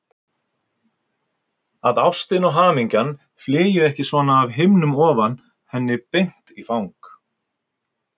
Að ástin og hamingjan flygju ekki svona af himnum ofan henni beint í fang.